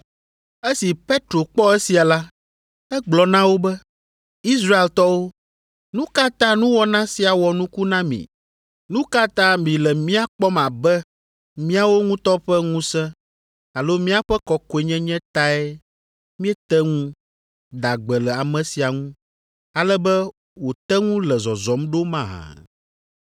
Esi Petro kpɔ esia la, egblɔ na wo be, “Israeltɔwo, nu ka ta nuwɔna sia wɔ nuku na mi? Nu ka ta mile mía kpɔm abe míawo ŋutɔ ƒe ŋusẽ alo míaƒe kɔkɔenyenye tae míete ŋu da gbe le ame sia ŋu, ale be wòte ŋu le zɔzɔm ɖo mahã?”